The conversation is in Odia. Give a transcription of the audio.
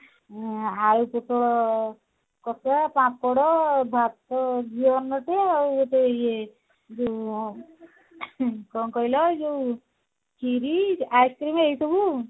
ଉଁ ଆଳୁ ପୋଟଳ କଷା ପାମ୍ପଡ ଆଉ ଗୋଟେ ଇଏ ଯୋଉ କଣ କହିଲ ଯୋଉ ଖିରୀ ice-cream ଏଇ ସବୁ ଆଉ